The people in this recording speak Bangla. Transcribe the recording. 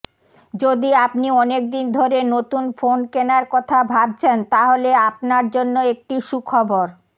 যদি আপনি অনেক দিন ধরে নতুন ফোন কেনার কথা ভাবছেন তাহলে আপনার জন্য একটি সুখবর